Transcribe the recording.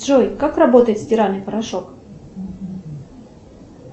джой как работает стиральный порошок